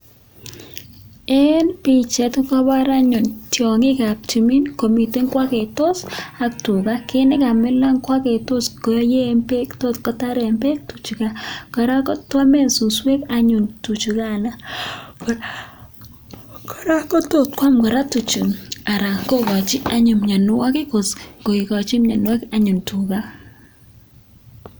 En bichait kokabar anyun tiangik ab tumin komiten kwagetos ak tuga ko kit nekamilan kwagetos koyen bek ako tot kotaret bek tuchuton kora kwamen suswek anyun tuchugan koraa kot kwam tuchu anan kokachin anyun mianwagik anyun tuga